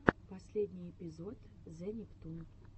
последний эпизод зе нептун